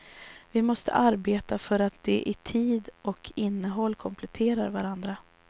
Vi måste arbeta för att de i tid och innehåll kompletterar varandra.